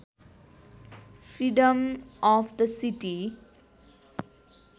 freedom of the city